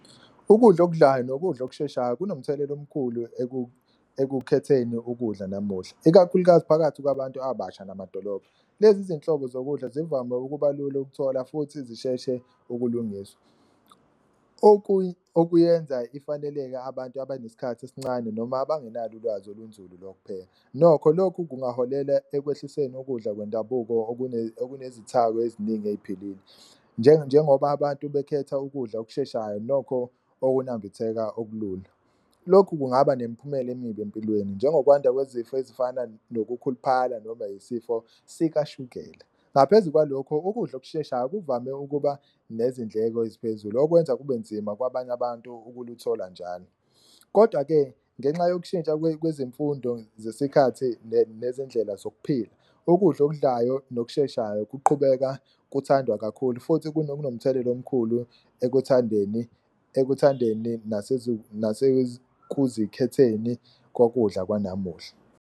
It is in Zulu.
Ukudla okudlayo nokudla okusheshayo kunomthelela omkhulu ekukhetheni ukudla namuhla, ikakhulukazi phakathi kwabantu abasha namadolobha. Lezi izinhlobo zokudla zivame ukuba lula ukuthola futhi zisheshe ukulungiswa, okuyenza ifaneleke abantu abanesikhathi esincane noma abangenalo ulwazi olunzulu lokupheka. Nokho lokhu kungaholela ekwehlisweni ukudla kwendabuko okunezithako eziningi ey'philile njengoba abantu bekhetha ukudla okusheshayo, nokho okunambitheka okulula. Lokhu kungaba nemphumela emibi empilweni njengokwanda kwezifo ezifana nokukhuluphala noma isifo sikashukela ngaphezu kwalokho, ukudla okusheshayo kuvame ukuba nezindleko eziphezulu okwenza kube nzima kwabanye abantu ukuluthola njalo. Kodwa-ke ngenxa yokushintsha kwezemfundo zesikhathi nezendlela zokuphila ukudla okudlayo nokusheshayo kuqhubeka kuthandwa kakhulu futhi kunomthelela omkhulu ekuthandeni, ekuthandeni nasekuzikhetheni kokudla kwanamuhla.